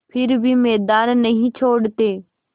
फिर भी मैदान नहीं छोड़ते